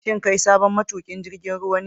Shin kai sabon matukin jirgin ruwa ne?